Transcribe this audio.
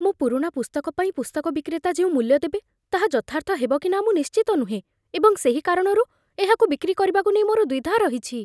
ମୋ ପୁରୁଣା ପୁସ୍ତକ ପାଇଁ ପୁସ୍ତକ ବିକ୍ରେତା ଯେଉଁ ମୂଲ୍ୟ ଦେବେ ତାହା ଯଥାର୍ଥ ହେବ କି ନା ମୁଁ ନିଶ୍ଚିତ ନୁହେଁ, ଏବଂ ସେହି କାରଣରୁ ଏହାକୁ ବିକ୍ରି କରିବାକୁ ନେଇ ମୋର ଦ୍ୱିଧା ରହିଛି।